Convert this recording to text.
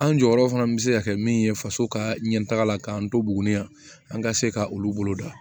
An jɔyɔrɔ fana bɛ se ka kɛ min ye faso ka ɲɛtaga la k'an to buguni yan an ka se ka olu bolo da